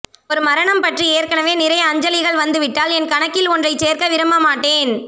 ஒரு மரணம் பற்றி ஏற்கனவே நிறைய அஞ்சலிகள் வந்துவிட்டால் என் கணக்கில் ஒன்றைச் சேர்க்கவிரும்பமாட்டேன்